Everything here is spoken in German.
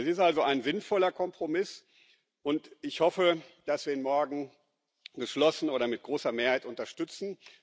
Es ist also ein sinnvoller Kompromiss, und ich hoffe, dass wir ihn morgen geschlossen oder mit großer Mehrheit unterstützen.